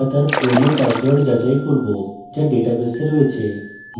আমরা তার পুরনো পাসওয়ার্ড যাচাই করব যা ডেটাবেসে রয়েছে